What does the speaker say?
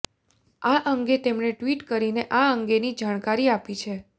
આ અંગે તેમણે ટ્વીટ કરીને આ અંગેની જાણકારી આપી છે